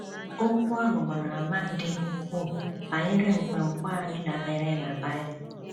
Okwu ahụ gbara àmà dị ukwuu banyere nkwenkwe anyị dabeere na Bible.